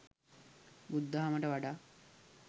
බුදුදහමට වඩා